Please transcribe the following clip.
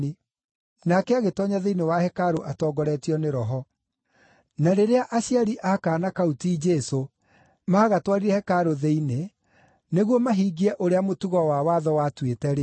Nake agĩtoonya thĩinĩ wa hekarũ atongoretio nĩ Roho. Na rĩrĩa aciari a kaana kau ti Jesũ, maagatwarire hekarũ thĩinĩ nĩguo mahingie ũrĩa mũtugo wa watho watuĩte-rĩ,